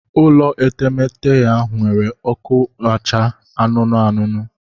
Ụlọ etemete ya were oku acha anụnụ anụnụ